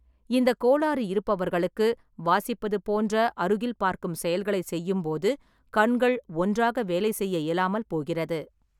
இந்த கோளாறு இருப்பவர்களுக்கு, வாசிப்பது போன்ற அருகில் பார்க்கும் செயல்களைச் செய்யும்போது கண்கள் ஒன்றாக வேலை செய்ய இயலாமல் போகிறது.